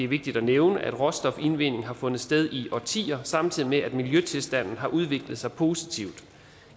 vigtigt at nævne at råstofindvinding har fundet sted i årtier samtidig med at miljøtilstanden har udviklet sig positivt